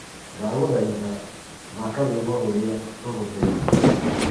ndagũthaitha thaka rwĩmbo rũrĩa rurũmiriire